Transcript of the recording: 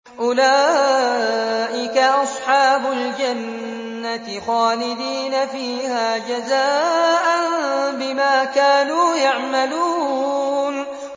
أُولَٰئِكَ أَصْحَابُ الْجَنَّةِ خَالِدِينَ فِيهَا جَزَاءً بِمَا كَانُوا يَعْمَلُونَ